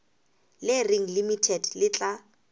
le reng limited le tla